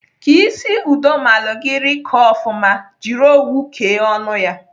Ka isi udomalị gị rịkọọ ofụma, jiri owu kee ọnụ ya.